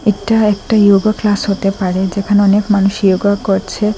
এটা একটা yoga class হতে পারে যেখানে অনেক মানুষ য়োগা করছে।